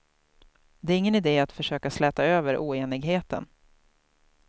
Det är ingen idé att försöka släta över oenigheten.